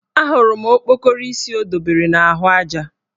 Ahụrụ m okpokoro isi o dobere n' ahụaja